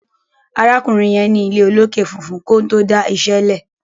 arákùnrin yen ní ilé olokè fufun konto dá iṣé lẹ